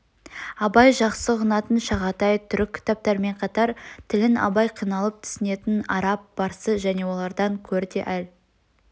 абай жақсы ұғынатын шағатай түрік ктаптарымен қатар тілін абай қиналып түснетін араб парсы және олардан көр де әл